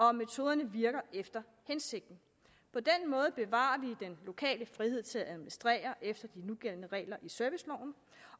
om metoderne virker efter hensigten på den måde bevarer vi den lokale frihed til at administrere efter de nugældende regler i serviceloven